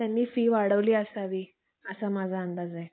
त्यांनी फी वाढवली असावी असा माझा अंदाज आहे